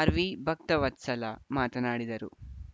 R V Bhaktavatsala ಮಾತನಾಡಿದರು